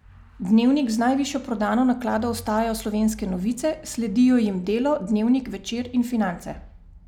Dnevnik z najvišjo prodano naklado ostajajo Slovenske novice, sledijo jim Delo, Dnevnik, Večer in Finance.